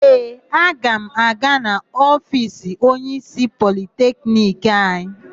Ee, aga m aga n'ofiisi onyeísí Politekniki anyị.